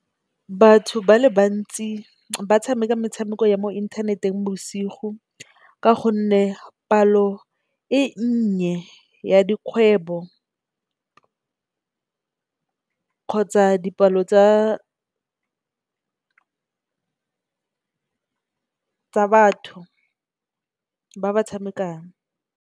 Batho ba le bantsi ba tshameka metshameko ya mo inthaneteng bosigo, ka gonne palo e nnye ya dikgwebo khontsa dipalo tsa batho ba ba tshamekang.